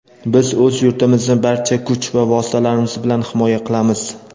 Biz o‘z yurtimizni barcha kuch va vositalarimiz bilan himoya qilamiz.